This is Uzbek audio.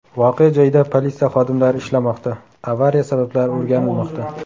Voqea joyida politsiya xodimlari ishlamoqda, avariya sabablari o‘rganilmoqda.